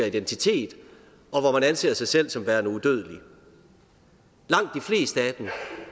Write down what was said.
identitet og hvor man anser sig selv som værende udødelig langt